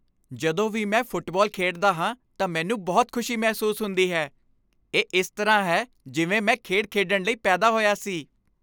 ਜਦੋਂ ਵੀ ਮੈਂ ਫੁੱਟਬਾਲ ਖੇਡਦਾ ਹਾਂ ਤਾਂ ਮੈਨੂੰ ਬਹੁਤ ਖੁਸ਼ੀ ਮਹਿਸੂਸ ਹੁੰਦੀ ਹੈ। ਇਹ ਇਸ ਤਰ੍ਹਾਂ ਹੈ ਜਿਵੇਂ ਮੈਂ ਖੇਡ ਖੇਡਣ ਲਈ ਪੈਦਾ ਹੋਇਆ ਸੀ।